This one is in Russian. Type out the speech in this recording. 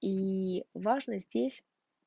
и важно здесь